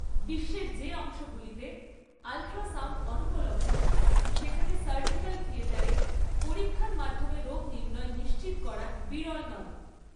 বিশ্বের যে অংশগুলিতে আল্ট্রাসাউন্ড অনুপলব্ধ, সেখানে সার্জিক্যাল থিয়েটারে পরীক্ষার মাধ্যমে রোগ নির্ণয় নিশ্চিত করা বিরল নয়।